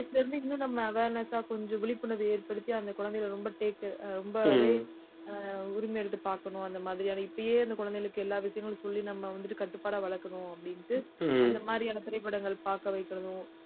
சின்ன வயசுல இருந்து இன்னும் நம்ம awareness ஆ கொஞ்சம் விழிப்புணர்வு ஏற்படுத்தி அந்த குழந்தைகளை ரொம்ப take care ரொம்ப ஆஹ் உரிமை எடுத்து பாக்கணும். அந்த மாதிரியான இப்பயே அந்த குழந்தைகளுக்கு எல்லா விஷயங்களும் சொல்லி நம்ம வந்துட்டு, கட்டுப்பாடா வளர்க்கணும் அப்படின்ட்டு, இந்த மாதிரியான திரைப்படங்கள் பாக்க வைக்கிறதும்